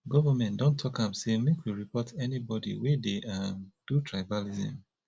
government don talk sey make we report anybodi wey dey um do tribalism